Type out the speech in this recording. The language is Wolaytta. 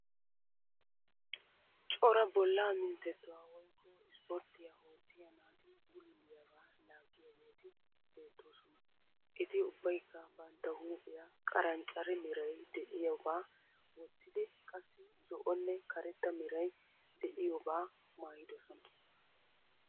Cora bollaa minttettuwa woyikko isiporttiya oottiya naati bululiyabaa laaggiyageeti beettoosona. Eti ubbayikka bantta huuphiya qaranccare meray de'iyobaa wottidi qassi zo'onne karetta merayi de'iyobaa maayidosona.